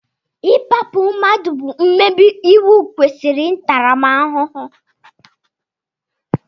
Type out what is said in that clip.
Ikpágbù mmadụ bụ mmebi iwu kwesiri ntaramahuhu